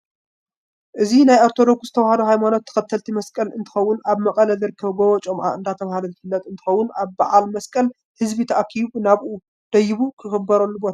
እዚ ናይ ኦርተደኩስ ተዋህዶ ሃይማኖት ተከተልቲ መስቀል እንትከውን ኣብ መቀለ ዝርከብ ጎቦ ጮምዓ እንዳተባሃለ ዝፍለጥ እንትከውን ኣብ በዓል መስቀል ህዝቢ ተኣኪቡ ናብኡ ደይቡ ዘክብረሉ ቦታ እዩ።